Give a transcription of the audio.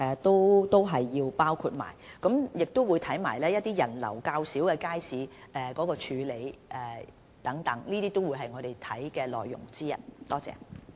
同時，我們也會檢視人流較少的街市的處理和安排，這些都是我們檢視的內容之一。